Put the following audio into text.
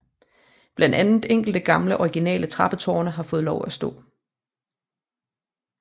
Blandt andet enkelte gamle originale trappetårne har fået lov at stå